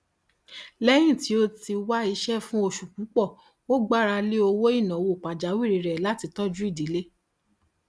lẹyìn tí ó ti wá iṣẹ fún oṣù púpọ ó gbára lé owó ìnáwó pàjáwìrì rẹ láti tọjú ìdílé